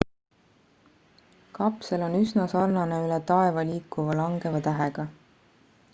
kapsel on üsna sarnane üle taeva liikuva langeva tähega